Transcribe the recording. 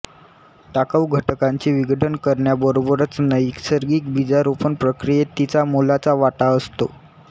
टाकाऊ घटकांचे विघटन करण्याबरोबरच नैसर्गिक बीजारोपण प्रक्रियेत तिचा मोलाचा वाटा असतो